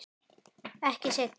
Ekki seinna.